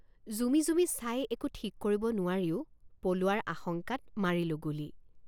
জুমি জুমি চাই একো ঠিক কৰিব নোৱাৰিও পলোৱাৰ আশংকাত মাৰিলোঁ গুলী।